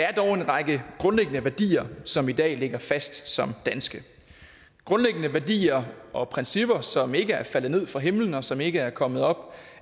er dog en række grundlæggende værdier som i dag ligger fast som danske grundlæggende værdier og principper som ikke er faldet ned fra himlen og som ikke er kommet op